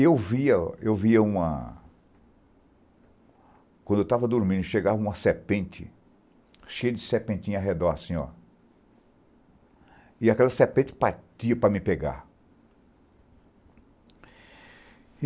E eu via eu via uma... Quando eu estava dormindo, chegava uma serpente, cheia de serpentinhas ao redor, assim, ó. E aquela serpente partia para me pegar